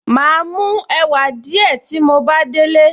Màá mú ẹ̀wà díẹ̀ tí mo bá délé